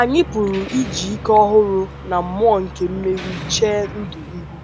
anyị pụrụ iji ike ọhụrụ na mmụọ nke mmeri chee ndụ ihu. ”.”